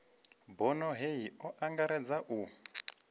bono hei o angaredza u